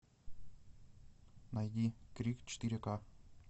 найди крик четыре ка